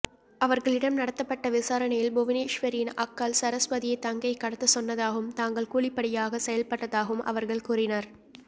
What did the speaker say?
அவர்களிடம் நடத்தப்பட்ட விசாரணையில் புவனேஸ்வரியின் அக்காள் சரஸ்வதியே தங்கையை கடத்த சொன்னதாகவும் தாங்கள் கூலிப்படையாக செயல்பட்டதாகவும் அவர்கள் கூறினர்